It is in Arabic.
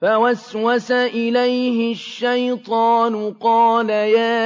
فَوَسْوَسَ إِلَيْهِ الشَّيْطَانُ قَالَ يَا